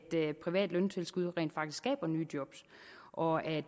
privat løntilskud rent faktisk skaber nye job og at